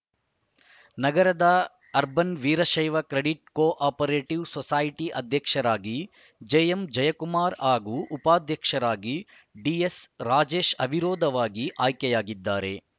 ನಗರದ urban Veerashaiva credit cooperative society ಅಧ್ಯಕ್ಷರಾಗಿ JM Jayakumar ಹಾಗೂ ಉಪಾಧ್ಯಕ್ಷರಾಗಿ ಡಿಎಸ್‌ ರಾಜೇಶ್‌ ಅವಿರೋಧವಾಗಿ ಆಯ್ಕೆಯಾಗಿದ್ದಾರೆ